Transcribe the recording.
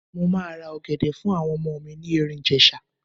Mo máa ra ọ̀gẹ̀dẹ̀ fún àwọn ọmọ mi ní Ẹ̀rìn-Ìjèṣa.